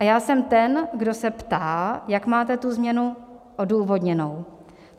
A já jsem ten, kdo se ptá, jak máte tu změnu odůvodněnou.